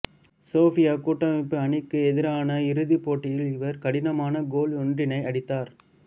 Soviet கூட்டமைப்பு அணிக்கு எதிரான இறுதிப்போட்டியில் இவர் கடினமான கோல் ஒன்றினை அடித்தார்